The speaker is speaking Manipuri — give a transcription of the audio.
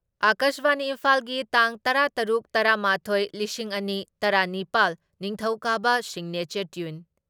ꯑꯀꯥꯁꯕꯥꯅꯤ ꯏꯝꯐꯥꯜꯒꯤ ꯇꯥꯡ ꯇꯔꯥ ꯇꯔꯨꯛ ꯇꯔꯥ ꯃꯥꯊꯣꯏ ꯂꯤꯁꯤꯡ ꯑꯅꯤ ꯇꯔꯥ ꯅꯤꯄꯥꯜ, ꯅꯤꯡꯊꯧꯀꯥꯕ ꯁꯤꯒꯅꯦꯆꯔ ꯇ꯭ꯌꯨꯟ ꯫